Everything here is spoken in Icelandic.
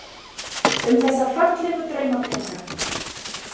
Um þessa fallegu draumaprinsa.